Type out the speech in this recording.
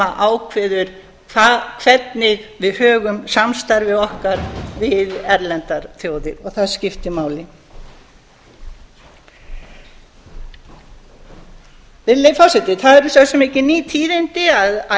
ákveður hvernig við högum samstarfi okkar við erlendar þjóðir og það skiptir máli virðulegi forseti það eru svo sem ekki ný tíðindi að